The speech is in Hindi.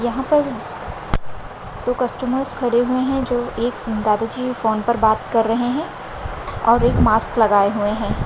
यहा पर दो कस्टमर्स खड़े हुए है जो एक दादाजी फोन पर बात कर रहे है और एक मास्क लगाये हुए है।